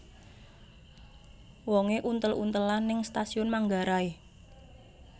Wonge untel untelan ning Stasiun Manggarai